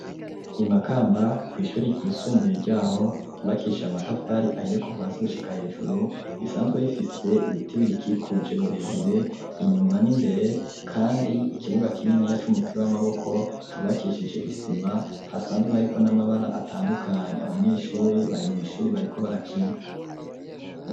Imakamba kw'ishuri ryisumbuye ryaho rubakishije amatafari ahiye kuva asi gushika hejuru risanzwe bifise ibitibirikikuje birebire inyuma n'imbere, kandi ikibuga kinini ya c'umupira w'amaboko cubakishije isima hasanzwe hariko n'amabara atandukanyi abanyeshuri bari mw'ishuri bariko barakina a.